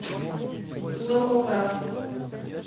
зооград